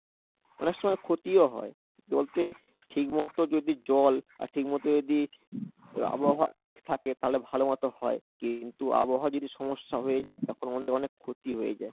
অনেক সময় ক্ষতিও হয় ঠিক মতো যদি জল আর ঠিক মতো যদি আবহাওয়া ঠিক থাকে তাহলে ভালো মতো হয় কিন্ত আবহাওয়া যদি সমস্যা হয়ে যায় তখন আমাদের অনেক ক্ষতি হয়ে যায়।